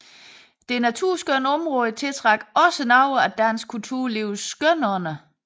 Det naturskønne område tiltrak også nogle af dansk kulturlivs skønånder